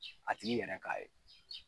A tigi yɛrɛ k'a ye.